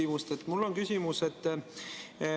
Mul on kaks küsimust.